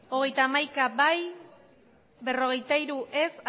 hogeita hamaika ez berrogeita hiru